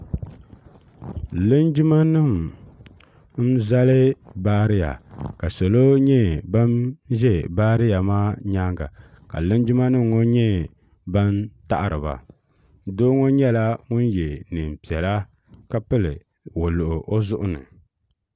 linjimanim n zali bariya ka salo nyɛ ban ʒɛ baariya maa nyɛŋa ka linjimanim gba nyɛ ban taɣ' ba do ŋɔ nyɛla ŋɔ yɛ nɛɛnpiɛlla ka pɛli waluɣ' o zuɣ' ni